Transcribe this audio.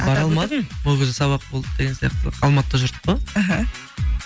бара алмадым ол кезде сабақ болды деген сияқты алматыда жүрдік қой іхі